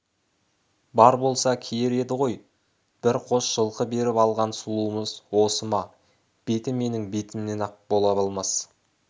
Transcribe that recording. бар болса киер еді ғой бір қос жылқы беріп алған сұлуымыз осы ма беті менің бетімнен ақ бола алмас